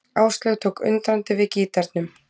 Áslaug tók undrandi við gítarnum.